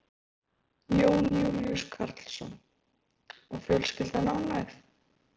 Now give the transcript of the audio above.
Jón Júlíus Karlsson: Og fjölskyldan ánægð?